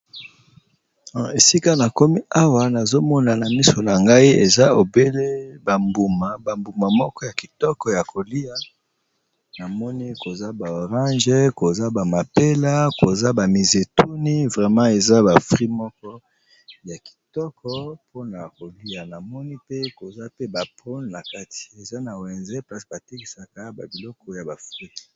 Esika nakomi awa nazomona na miso na ngai ba mbuma ya kitoko koza ba Orange, mapela, mizetuni vraiment eza ba fruits ya kitoko pona kolya namoni eza na wenze place batekaka ba mbuma nakati.